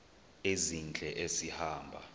ezintle esi hamba